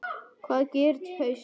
Hvað gerist í haust?